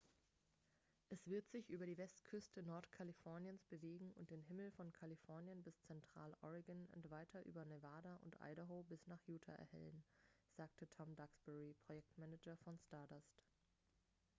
es wird sich über die westküste nordkaliforniens bewegen und den himmel von kalifornien bis zentraloregon und weiter über nevada und idaho bis nach utah erhellen sagte tom duxbury projektmanager von stardust